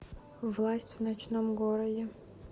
власть в ночном городе